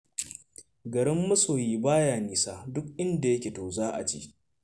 Garin masoyi ba ya nisa, duk inda yake to za' a je.